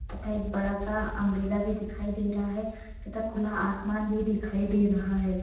तथा एक बड़ा सा अम्ब्रेला भी दिखाई दे रहा है तथा खुला आसमान भी दिखाई दे रहा है।